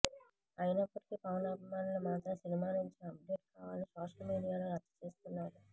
అయినప్పటికీ పవన్ అభిమానులు మాత్రం సినిమా నుంచి అప్డేట్ కావాలని సోషల్ మీడియాలో రచ్చ చేస్తున్నారు